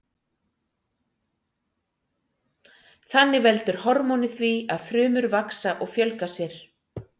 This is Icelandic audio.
Þannig veldur hormónið því að frumur vaxa og fjölga sér.